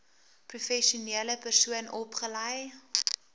professionele persoon opgelei